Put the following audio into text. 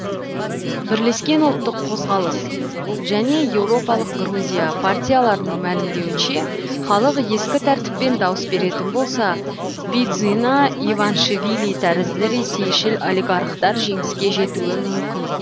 бірлескен ұлттық қозғалыс және еуропалық грузия партияларының мәлімдеуінше халық ескі тәртіппен дауыс беретін болса бидзина иваншвили тәрізді ресейшіл олигархтар жеңіске жетуі мүмкін